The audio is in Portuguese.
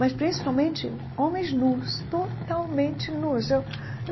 Mas, principalmente, homens nus, totalmente nus eu.